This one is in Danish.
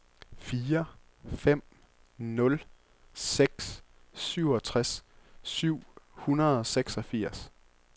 fire fem nul seks syvogtres syv hundrede og seksogfirs